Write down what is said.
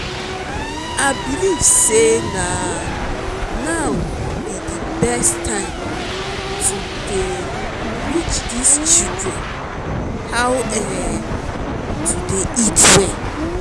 i believe say na now be the best time to dey teach dis children how um to dey eat well